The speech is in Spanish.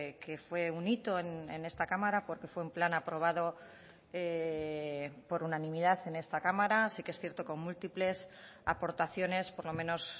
que fue un hito en esta cámara porque fue un plan aprobado por unanimidad en esta cámara sí que es cierto con múltiples aportaciones por lo menos